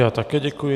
Já také děkuji.